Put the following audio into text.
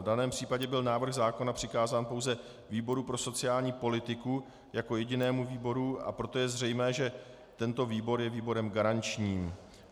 V daném případě byl návrh zákona přikázán pouze výboru pro sociální politiku jako jedinému výboru, a proto je zřejmé, že tento výbor je výborem garančním.